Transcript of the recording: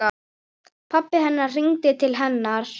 Pabbi hennar hringdi til hennar.